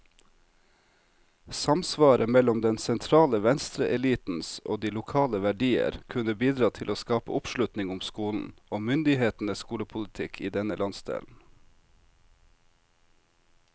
Samsvaret mellom den sentrale venstreelitens og de lokale verdier kunne bidra til å skape oppslutning om skolen, og myndighetenes skolepolitikk i denne landsdelen.